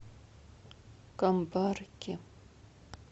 камбарки